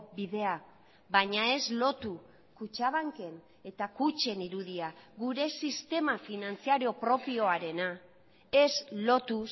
bidea baina ez lotu kutxabanken eta kutxen irudia gure sistema finantzario propioarena ez lotu